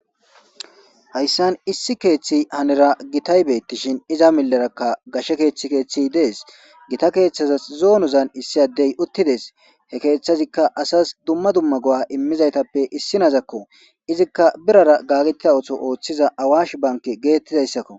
hayssan issi keeththi hanira gitay beettishin iza millerakka gashe keeththi keeththi dees gita keeththaza zoonozan issi addey uttides he keeththazikka asas dumma dumma go'a immizaytappe issinazakko izikka birara gagetia ooso ooththiza awash banke geettidayssakko